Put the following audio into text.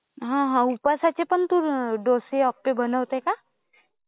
हा, हा. उपवासाचे पण तू अं डोसे, अप्पे बनवतेस का?